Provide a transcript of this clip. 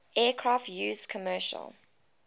aircraft used commercial